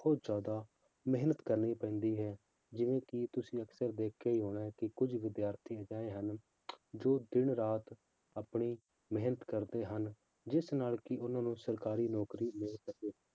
ਬਹੁਤ ਜ਼ਿਆਦਾ ਮਿਹਨਤ ਕਰਨੀ ਪੈਂਦੀ ਹੈ ਜਿਵੇਂ ਕਿ ਤੁਸੀਂ ਅਕਸਰ ਦੇਖਿਆ ਹੀ ਹੋਣਾ ਹੈ ਕਿ ਕੁੱਝ ਵਿਦਿਆਰਥੀ ਅਜਿਹੇ ਹਨ ਜੋ ਦਿਨ ਰਾਤ ਆਪਣੀ ਮਿਹਨਤ ਕਰਦੇ ਹਨ ਜਿਸ ਨਾਲ ਕਿ ਉਹਨਾਂ ਨੂੰ ਸਰਕਾਰੀ ਨੌਕਰੀ ਮਿਲ ਸਕੇ